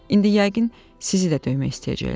İndi yəqin sizi də döymək istəyəcəklər.